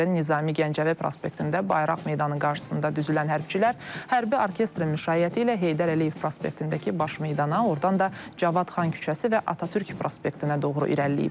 Şəhərin Nizami Gəncəvi prospektində Bayraq meydanı qarşısında düzülən hərbçilər hərbi orkestrin müşayiəti ilə Heydər Əliyev prospektindəki baş meydana, ordan da Cavad xan küçəsi və Atatürk prospektinə doğru irəliləyiblər.